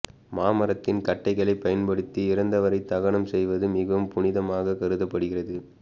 மாமரத்தின் கட்டைகளைப் பயன்படுத்தி இறந்தவரை தகனம் செய்வது மிகவும் புனிதமாக கருதப்படுகிறது